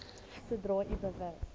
sodra u bewus